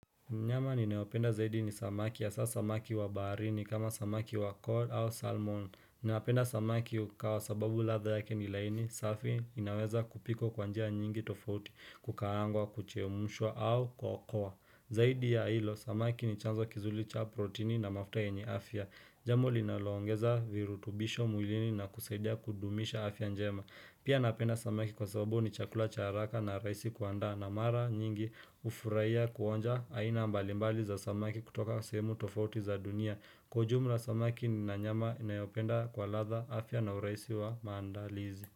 Mnyama ninaopenda zaidi ni samaki ya sasa samaki wa baharini kama samaki wa cod au salmon. Napenda samaki ukawa kwa sababu ladha yake ni laini, safi inaweza kupikwa kwa njia nyingi tofauti, kukaangwa, kuchemshwa au kwa ukoa. Zaidi ya hilo, samaki ni chanzo kizuri cha protini na mafuta yenye afya. Jambo linalo ongeza virutubisho mwilini na kusaidia kudumisha afya njema. Pia napenda samaki kwa sababu ni chakula cha haraka na rahisi kuandaa na mara nyingi hufurahia kuonja aina mbalimbali za samaki kutoka sehemu tofauti za dunia. Kwa ujumla samaki na nyama ninayopenda kwa ladha afya na urahisi wa maandalizi.